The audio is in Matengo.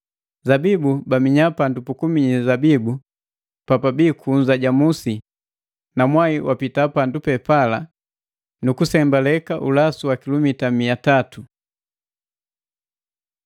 Zabibu baminya pandu pukuminyi zabibu papabii kunza ja musi, na mwai wapita pandu pepala nu kusembaleka ulasu wa kilumita mia tatu.